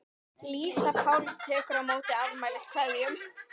Lísa Páls tekur á móti afmæliskveðjum.